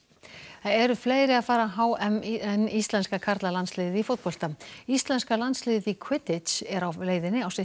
það eru fleiri að fara á h m en íslenska karlalandsliðið í fótbolta íslenska landsliðið í er á leiðinni á sitt